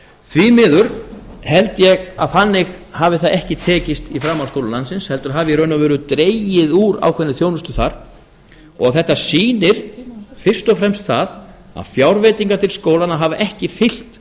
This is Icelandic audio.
því miður held ég að þannig hafi það ekki tekist í framhaldsskólum landsins heldur hafi í raun og veru dregið úr ákveðinni þjónustu þar og þetta sýnir fyrst og fremst það að fjárveitingar til skólanna hafa